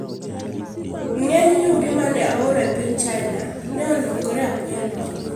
Ng’eny yugi ma ne ooro e piny China ne olokore apoya nono.